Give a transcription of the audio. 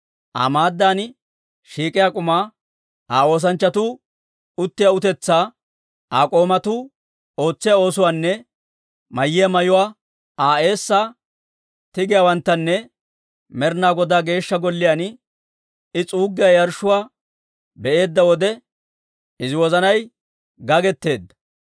Aa maaddan shiik'iyaa k'umaa, Aa oosanchchatuu uttiyaa utetsaa, Aa k'oomatuu ootsiyaa oosuwaanne mayiyaa mayuwaa, Aa eessaa tigiyaawanttanne Med'inaa Godaa Geeshsha Golliyaan I s'uuggiyaa yarshshuwaa be'eedda wode, izi wozanay gagetteedda.